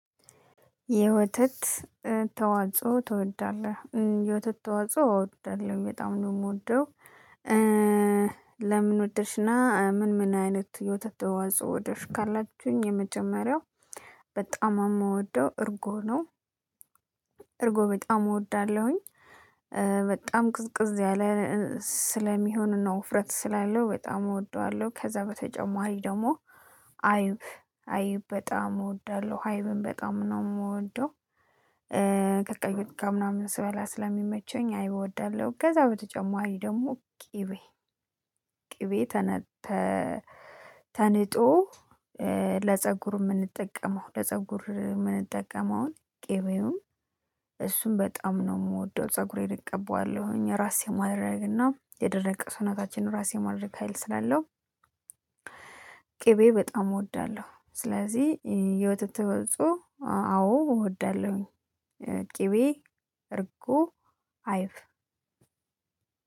የወተት ተዋጽኦ ትወዳለህ የወተት ተዋጽኦ አዎ እወዳለሁ በጣም ነው የምወደው። ለምን ወደሽና ምን ምን አይነት የውተት ተዋጽኦ ወደድሽ ካላችሁኝ? የመጀመሪያው በጣም የምወደው እርጎ ነው። እርጎ በጣም እወዳለሁኝ። በጣም ቅዝቅዝ ያለ ስለሚሆን ነው ውፍረት ስላለው በጣም እወደዋለሁ። ከዛ በተጨማሪ ደግሞ አይብ አይብ በጣም እወዳለሁ አይብም በጣም ነው የምወደው። ከቀይ ወጥ ጋ ምናምን ስበላ ስለሚመቸኝ አይብ እወዳለሁ። ከዛ በተጨማሪ ደግሞ ቅቤ ቅቤ ተንጦ ለፀጉር የምንጠቀመው ለፀጉር የምንጠቀመውን ቄቤውን እሱን በጣም ነው የምወደው። ፀጉሬን እቀበዋለሁኝ ራስ የማድረግና የደረቀ ሰውናታችን ራስ የማድረግ ሀይል ስላለው። ቅቤ በጣም እወዳለሁ። ስለዚህ የወተት ተዋጾ አዎ እወዳለሁኝ። ቅቤ እርጎ አይብ።